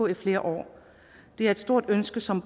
i flere år det er et stort ønske som